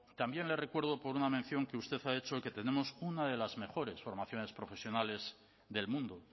también le recuerdo por una mención que usted ha hecho que tenemos una de las mejores formaciones profesionales del mundo